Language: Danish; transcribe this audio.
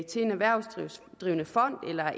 til en erhvervsdrivende fond eller